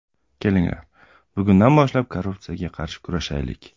Kelinglar, bugundan boshlab, korrupsiyaga qarshi kurashaylik.